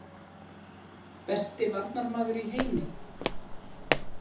Besti varnarmaður í heimi?